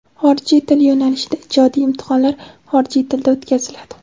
Xorijiy til yo‘nalishida ijodiy imtihonlar xorijiy tilda o‘tkaziladi.